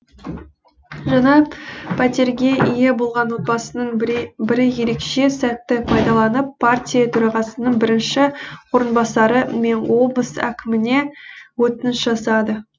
жаңа пәтерге ие болған отбасының бірі ерекше сәтті пайдаланып партия төрағасының бірінші орынбасары мен облыс әкіміне өтініш жасады